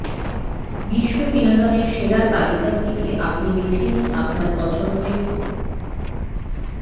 বিশ্ব বিনোদনের সেরা তালিকা থেকে আপনি বেছে নিন আপনার পছন্দের